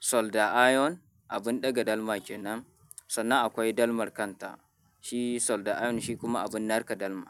solda iron, abin ɗaga dalma kenan, sannan akwai dalmar kanta. Shi solda iron shi kuma abin narka dalma.